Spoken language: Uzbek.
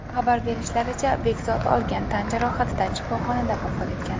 Xabar berishlaricha, Bekzod olgan tan jarohatidan shifoxonada vafot etgan.